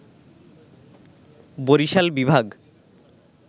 বরিশাল বিভাগ